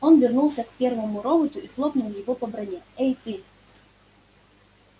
он вернулся к первому роботу и хлопнул его по броне эй ты